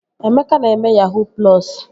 Emeka na-eme yahuu plọsu